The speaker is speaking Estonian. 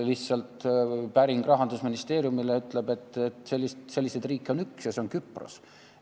Kui tegime päringu Rahandusministeeriumile, saime vastuseks, et selliseid riike on üks ja see on Küpros.